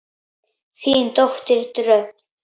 Þín dóttir Dröfn.